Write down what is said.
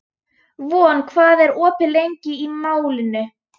Von, hvað er opið lengi í Málinu?